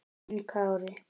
Þinn Kári.